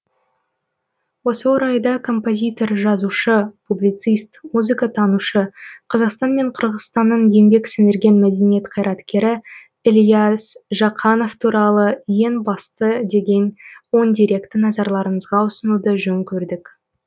осы орайда композитор жазушы публицист музыкатанушы қазақстан мен қырғызстанның еңбек сіңірген мәдениет қайраткері ілияс жақанов туралы ең басты деген он деректі назарларыңызға ұсынуды жөн көрдік